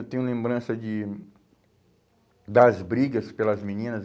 Eu tenho lembrança de das brigas pelas meninas.